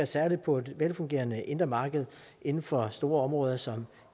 særlig på et velfungerende indre marked inden for store områder som